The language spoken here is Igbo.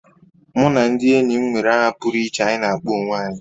Mụ na ndị enyi m nwere aha pụrụ iche anyị na akpọ onwe anyị